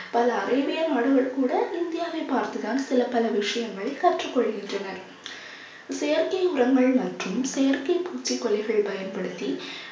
பல அறிவியல் மனிதர் கூட இந்தியாவை பார்த்துதான் சில பல விஷயங்களை கற்றுக் கொள்கின்றனர். செயற்கை உரங்கள் மற்றும் செயற்கை பூச்சி கொல்லிகள் பயன்படுத்தி